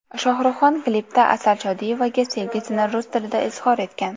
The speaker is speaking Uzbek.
Shohruhxon klipda Asal Shodiyevaga sevgisini rus tilida izhor etgan.